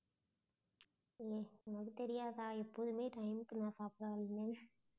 உம் அது தெரியாதா நான் எப்பவுமே time க்கு நான் சாப்பிடாதது ஏன்?